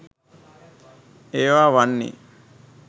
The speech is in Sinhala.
ඒවා වන්නේ.